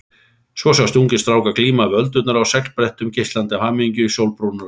Svo sjást ungir strákar glíma við öldurnar á seglbrettum, geislandi af hamingju, sólbrúnir og stæltir.